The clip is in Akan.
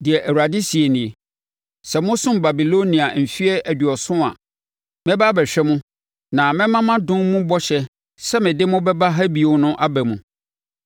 Deɛ Awurade seɛ nie: “Sɛ mosom Babilonia mfeɛ aduɔson a, mɛba abɛhwɛ mo na mɛma mʼadom mu bɔhyɛ sɛ mede mo bɛba ha bio no aba mu.